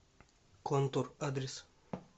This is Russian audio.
контур адрес